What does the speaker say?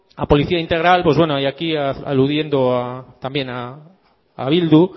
a policía integral aquí aludiendo también a bildu